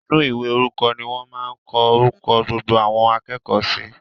Inú ìwé orúkọ ni wọ́n máa n kọ orúkọ gbogbo àwọn akẹ́kọ̀ọ́ si